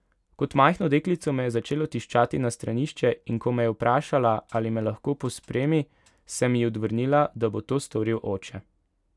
Kot majhno deklico me je začelo tiščati na stranišče, in ko me je vprašala, ali me lahko pospremi, sem ji odvrnila, da bo to storil oče.